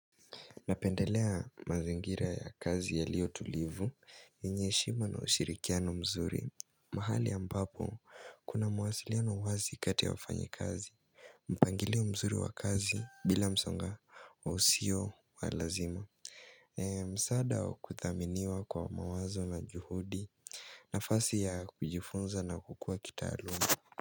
Napendelea mazingira ya kazi yaliyo tulivu yenye heshima na ushirikiano mzuri mahali ambapo kuna mawasiliano wazi kati ya wafanyikazi mpangilio mzuri wa kazi bila msonga wa usio wa lazima msaada wa kuthaminiwa kwa mawazo na juhudi nafasi ya kujifunza na kukua kitaalumu.